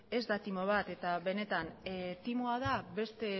ez da timo bat timoa da